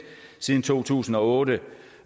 siden to tusind og otte